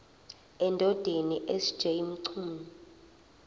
endodeni sj mchunu